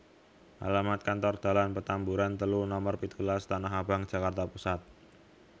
Alamat Kantor Dalan Petamburan telu nomer pitulas Tanahabang Jakarta Pusat